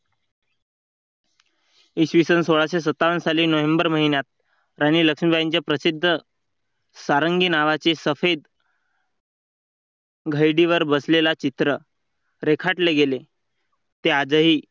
इसवी सन सोळाशे सत्तावन्न साली नोव्हेंबर महिन्यात राणी लक्ष्मीबाई यांचे प्रसिद्ध सारंगी नावाचे सफेद बसलेला चित्र रेखाटले गेले ते आजही